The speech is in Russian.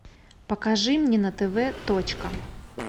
покажи мне на тв точка